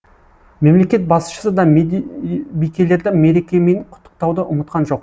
мемлекет басшысы да мед бикелерді мерекемен құттықтауды ұмытқан жоқ